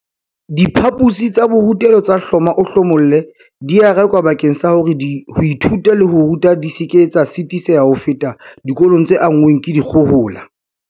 Diphaposi tsa borutelo tsa hloma-o-hlomolle di a rekwa bakeng sa hore ho ithuta le ho ruta di seke tsa sitiseha ho feta dikolong tse anngweng ke dikgohola.